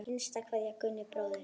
HINSTA KVEÐJA Gunni bróðir.